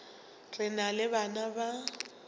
re na le bana ba